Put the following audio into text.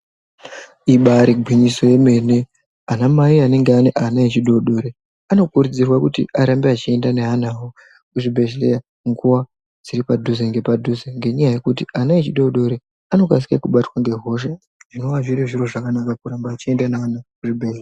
Ibari gwinyiso yemene anamai anenge ane zvidodori anokurudzirwe kuti arambe achienda neana awo kuzvibhedhleya nguwa dziri padhuze nepadhuze ngenyaya yekuti ana echidodori anokasike kubatwa ngehosha zvinova zviri zviro zvakanaka kuramba uchienda neana kuzvibhedhleya.